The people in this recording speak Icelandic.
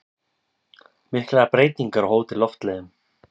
Miklar breytingar á Hótel Loftleiðum